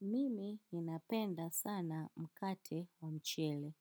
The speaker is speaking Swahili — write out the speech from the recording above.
Mimi ninapenda sana mkate wa mchele.